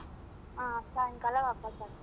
ಹಾ ಸಾಯಂಕಾಲ ವಾಪಾಸ್ ಆಗ್ಬೋದು.